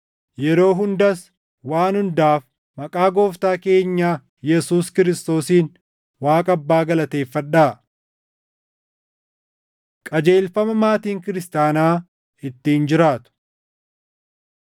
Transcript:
yeroo hundas waan hundaaf maqaa Gooftaa keenya Yesuus Kiristoosiin Waaqa Abbaa galateeffadhaa. Qajeelfama Maatiin Kiristaanaa Ittiin Jiraatu 5:22–6:9 kwf – Qol 3:18–4:1